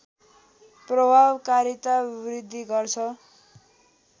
प्रभावकारिता वृदि गर्छ